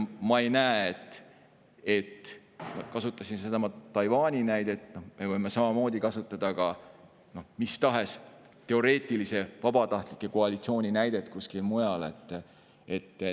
Ma kasutasin sedasama Taiwani näidet, me võime samamoodi kasutada mis tahes teoreetilise vabatahtliku koalitsiooni näidet kuskil mujal.